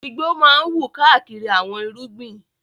Igbó máa ń wù káàkiri àwọn irúgbìn.